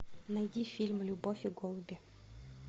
найди фильм любовь и голуби